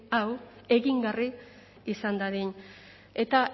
hau egingarri izan dadin eta